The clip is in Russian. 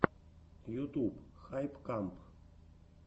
ютуб хайп камп